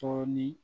Dɔɔnin